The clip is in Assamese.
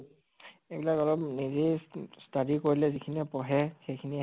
এইবিলাক অলপ নিজেই ষ্টা study কৰিলে যিখিনি পঢ়ে সেইখিনি হে